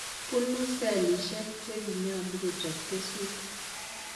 Bunu selishek cheginyalu kochab keswek